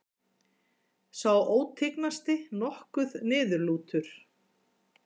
Sá ótignasti nokkuð niðurlútur.